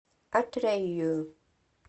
атрэю